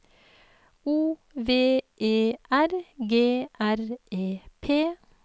O V E R G R E P